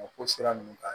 O ko sira ninnu ka